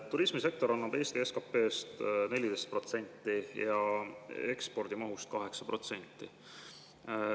Turismisektor annab Eesti SKP‑st 14% ja ekspordimahust 8%.